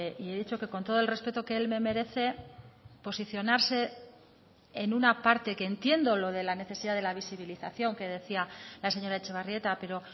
y he dicho que con todo el respeto que él me merece posicionarse en una parte que entiendo lo de la necesidad de la visibilización que decía la señora etxebarrieta pero